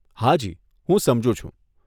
હાજી, હું સમજુ છું.